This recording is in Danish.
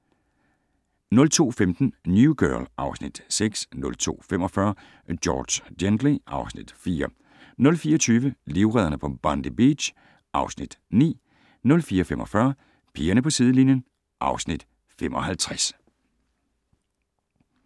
02:15: New Girl (Afs. 6) 02:45: George Gently (Afs. 4) 04:20: Livredderne på Bondi Beach (Afs. 9) 04:45: Pigerne på sidelinjen (Afs. 55)